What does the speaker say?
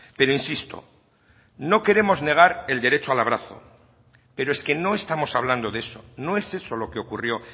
pero insisto no queremos negar el derecho al abrazo pero es que no estamos hablando de eso no es eso lo que ocurrió